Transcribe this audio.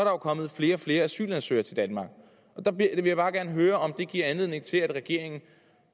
jo kommet flere og flere asylansøgere til danmark der vil jeg bare gerne høre om det giver anledning til at regeringen